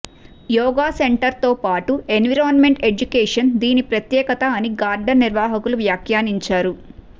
yoga center తో పాటు environment education దీని ప్రత్యేకత అని గార్డెన్ నిర్వాహకులు వ్యాఖ్యానించారు